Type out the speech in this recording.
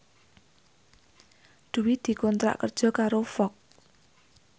Dwi dikontrak kerja karo Fox